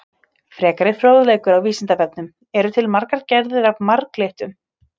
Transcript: Frekari fróðleikur á Vísindavefnum: Eru til margar gerðir af marglyttum?